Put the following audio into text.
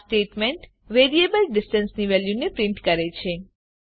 આ statement variable distance ની વેલ્યુને પ્રીંટ કરે છે